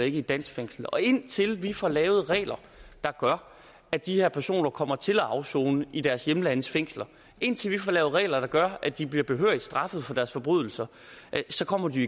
i et dansk fængsel og indtil vi får lavet regler der gør at de her personer kommer til at afsone i deres hjemlandes fængsler indtil vi får lavet regler der gør at de bliver behørigt straffet for deres forbrydelser så kommer de